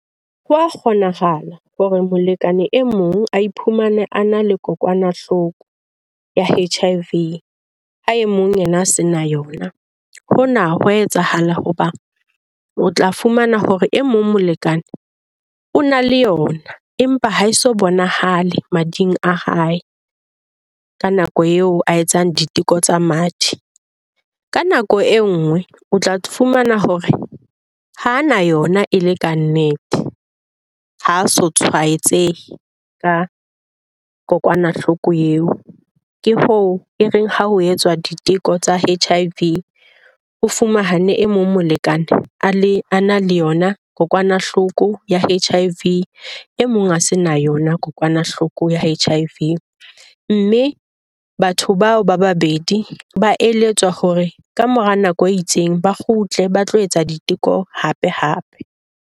Ho a kgonahala hore molekane e mong a iphumane a na le kokwanahloko ya H_I_V, ha e mong yena a se na yona. Hona hwa etsahala hobane o tla fumana hore e mong molekane o na le yona, empa ha e so bonahale mading a hae ka nako eo a etsang diteko tsa madi. Ka nako e nngwe o tla fumana hore ha na yona e le ka nnete, ha a so tshwaetsehe ka kokwanahloko eo. Ke hoo e reng ha ho etswa diteko tsa H_I_V. O fumane e mong molekane a na le yona kokwanahloko ya H_I_V, e mong a se na yona kokwanahloko ya H_I_V. Mme batho bao ba babedi ba eletswa hore kamora nako e itseng, ba kgutle ba tlo etsa diteko hapehape.